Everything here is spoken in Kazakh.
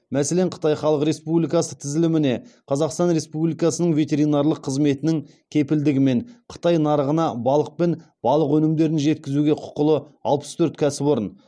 мәселен қытай халық республикасы тізіліміне қазақстан республикасының ветеринарлық қызметінің кепілдігімен қытай нарығына балық пен балық өнімдерін жеткізуге құқылы алпыс төрт кәсіпорын